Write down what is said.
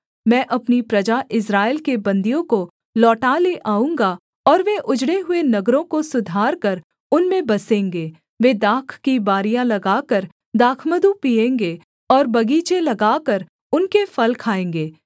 मैं अपनी प्रजा इस्राएल के बन्दियों को लौटा ले आऊँगा और वे उजड़े हुए नगरों को सुधारकर उनमें बसेंगे वे दाख की बारियाँ लगाकर दाखमधु पीएँगे और बगीचे लगाकर उनके फल खाएँगे